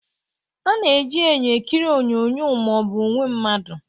A na-eji enyo ekiri onyonyo ma ọ bụ onwe mmadụ